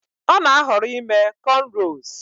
Ọ na-ahọrọ ime cornrows